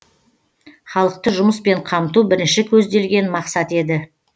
халықты жұмыспен қамту бірінші көзделген мақсат еді